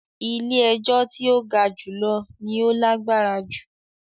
“ilé-ẹjọ́ tí ó ga jùlọ " ni ó lágbára jù.